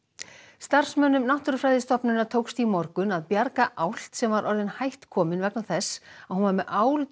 starfsmönnum Náttúrufræðistofnunar tókst í morgun að bjarga álft sem var orðin hætt komin vegna þess að hún var með